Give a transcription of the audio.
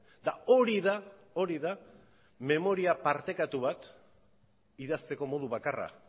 eta hori da hori da memoria partekatu bat idazteko modu bakarra